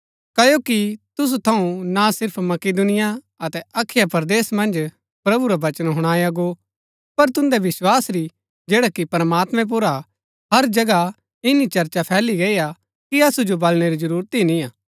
क्ओकि तुसु थऊँ ना सिर्फ मकिदुनिया अतै अखया परदेस मन्ज प्रभु रा वचन हुणाआ गो पर तुन्दै विस्‍वासा री जैडा कि प्रमात्मैं पुर हा हर जगहा इन्‍नी चर्चा फैली गई हा कि असु जो बलणै री जरूरत ही निआं